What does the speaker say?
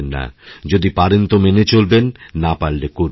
যদি পারেন তো মেনে চলবেন না পারলেকরবেন না